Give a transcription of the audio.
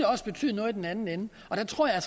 også betyde noget i den anden ende og der tror jeg